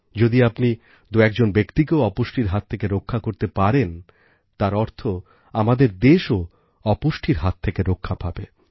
যদি আপনি দুএকজন ব্যক্তিকেও অপুষ্টির হাত থেকে রক্ষা করতে পারেন তার অর্থ আমাদের দেশও অপুষ্টির হাত থেকে রক্ষা পাবে